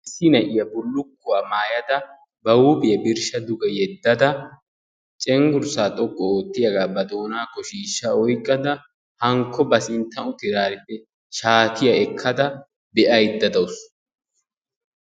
Issi na'iya bullukkuwa maayada ba huuphphiya birsha dugge yeddada cenggurssa xooqqu oottiyga ba doonaakko shiishsha oyqqada hankko ba ssinttan uttidaarippe shaattiya ekkada be'aydda daawusu.